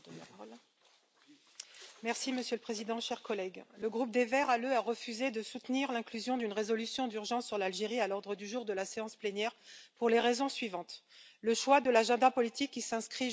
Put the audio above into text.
Monsieur le Président, chers collègues, le groupe des Verts ALE a refusé de soutenir l'inclusion d'une résolution d'urgence sur l'Algérie à l'ordre du jour de la séance plénière pour les raisons suivantes le choix de l'agenda politique, qui s'inscrit juste avant les élections du 12 décembre